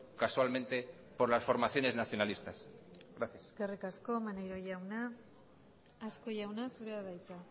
casualmente por las formaciones nacionalistas gracias eskerrik asko maneiro jauna azkue jauna zurea da hitza